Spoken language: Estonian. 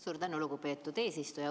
Suur tänu, lugupeetud eesistuja!